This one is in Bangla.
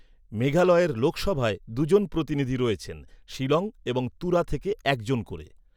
মেঘালয়ের লোকসভায় দুজন প্রতিনিধি রয়েছেন, শিলং এবং তুরা থেকে একজন করে।